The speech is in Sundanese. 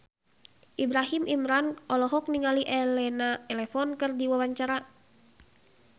Ibrahim Imran olohok ningali Elena Levon keur diwawancara